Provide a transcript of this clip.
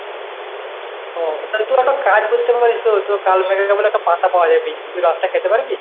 ও তুই একটা কাজ করতে পারিস তো তো কাল মেঘাকে বলে একটা পাতা পাওয়া যায়, তুই রসটা খেতে পারবি?